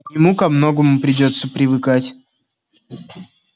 ему ко многому придётся привыкать